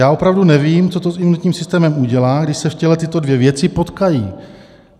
Já opravdu nevím, co to s imunitním systémem udělá, když se v těle tyto dvě věci potkají."